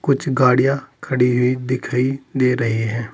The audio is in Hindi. कुछ गाड़ियां खड़ी हुई दिखाई दे रही हैं।